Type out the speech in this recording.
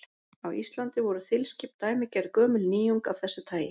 Á Íslandi voru þilskip dæmigerð gömul nýjung af þessu tagi.